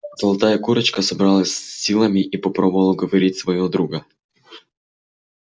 золотая курочка собралась с силами и попробовала уговорить своего друга